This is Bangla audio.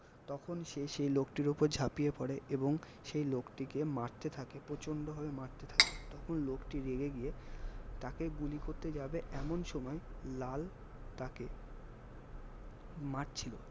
তখন সে সেই লোকটির ওপর ঝাঁপিয়ে পরে এবং সেই লোকটিকে মারতে থাকে প্রচন্ড ভাবে মারতে থাকে তখন লোকটি রেগে গিয়ে তাকে গুলি করতে যাবে এমন সময় লাল তাকে মারছিলো